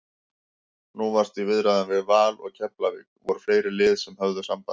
Nú varstu í viðræðum við Val og Keflavík, voru fleiri lið sem höfðu samband?